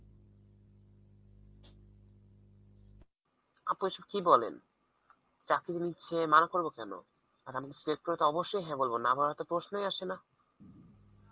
আপু এসব কি বলেন চাকরি যদি ছে~ মানা করবো কেন আর আমারে select করলে তো অবস্যই হ্যাঁ বলবো, না বলার তো কোনো প্রশ্নই আসে না